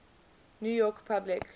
new york public